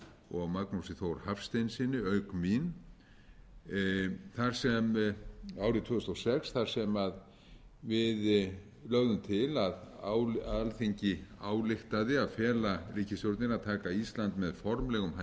og magnúsi þór hafsteinssyni auk mín árið tvö þúsund og sex þar sem við lögðum til að alþingi ályktaði að fela ríkisstjórninni að taka ísland með formlegum